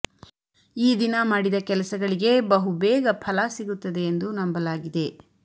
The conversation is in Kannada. ಈ ದಿನ ಮಾಡಿದ ಕೆಲಸಗಳಿಗೆ ಬಹುಬೇಗ ಫಲ ಸಿಗುತ್ತದೆ ಎಂದು ನಂಬಲಾಗಿದೆ